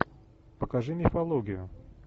покажи мифологию